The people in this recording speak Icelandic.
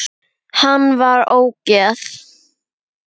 Hann var ógeð!